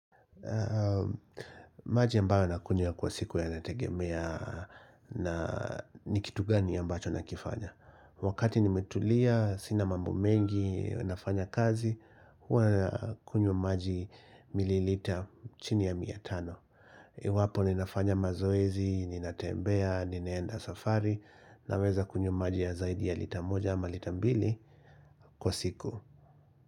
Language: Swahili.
Maji ambayo nakunia kwa siku ya nategemea ni kitu gani ambacho nakifanya Wakati nimetulia, sina mambo mengi, wanafanya kazi Huwa nakunywa maji mililita chini ya miatano. Wapo ninafanya mazoezi, ninatembea, ninaenda safari Naweza kunywa maji ya zaidi ya litamoja ama litambili kwa siku.